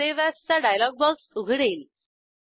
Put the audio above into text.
save as चा dialog box उघडेल